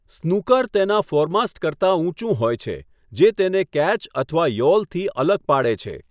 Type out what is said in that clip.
સ્કૂનર તેના ફોરમાસ્ટ કરતા ઊંચું હોય છે, જે તેને કેચ અથવા યૉલથી અલગ પાડે છે.